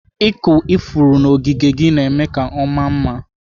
Ịkụ ifuru n'ogige gị na-eme ka ọ maa mma.